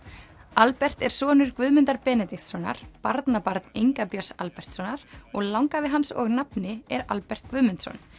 Albert er sonur Guðmundar Benediktssonar barnabarn Inga Björns Albertssonar og langafi hans og nafni er Albert Guðmundsson